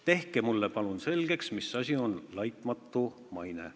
Tehke mulle palun selgeks, mis asi on laitmatu maine.